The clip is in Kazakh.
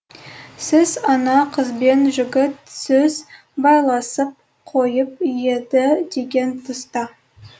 сіз ана қызбен жігіт сөз байласып қойып еді деген тұста